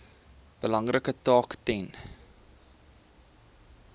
belangrike taak ten